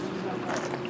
Bunları apar.